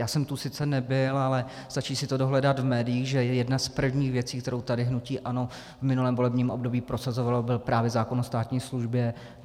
Já jsem tu sice nebyl, ale stačí si to dohledat v médiích, že jedna z prvních věcí, kterou tady hnutí ANO v minulém volebním období prosazovalo, byl právě zákon o státní službě.